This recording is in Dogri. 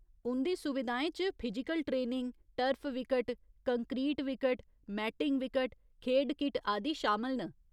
उंʼदी सुविधाएं च physical training, turf wicket, concrete wicket, matting wicket, खेढ किट आदि शामल न।